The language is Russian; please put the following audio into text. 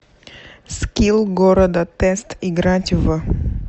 скилл города тест играть в